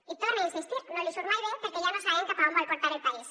i hi torne a insistir no li surt mai bé perquè ja no sabem cap a on vol portar el país